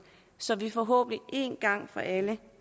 så vi forhåbentlig en gang for alle